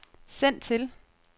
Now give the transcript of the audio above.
send til